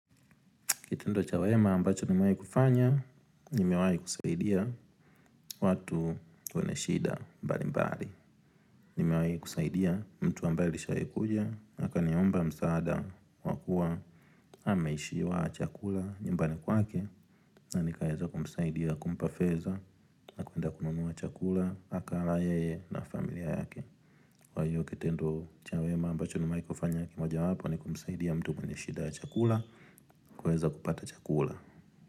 Kitendo cha wema ambacho nimewai kufanya, nimewai kusaidia watu kuene shida mbali mbali. Nimewai kusaidia mtu ambayo alishayikuja, akaniomba msaada wa kuwa ameishiwa chakula nyumbani kwake. Na nikaheza kumsaidia kumpa feza na kuenda kununua chakula, haka alaye na familia yake. Kwa hiyo kitendo cha wema ambacho nimewai kufanya ni moja wapo ni kumsaidia mtu mwenye shida ya chakula kuweza kupata chakula.